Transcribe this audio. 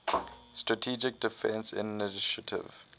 strategic defense initiative